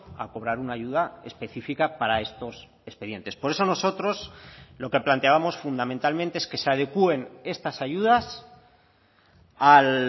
a cobrar una ayuda específica para estos expedientes por eso nosotros lo que planteábamos fundamentalmente es que se adecuen estas ayudas al